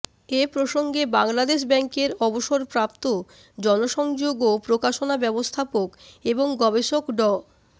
এ প্রসঙ্গে বাংলাদেশ ব্যাংকের অবসরপ্রাপ্ত জনসংযোগ ও প্রকাশনা ব্যবস্থাপক এবং গবেষক ড